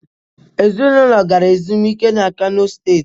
Ezịnụlo gara ezumịke na kano steetị